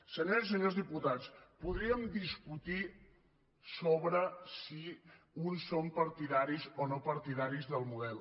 senyores i senyors diputats podríem discutir sobre si uns són partidaris o no partidaris del model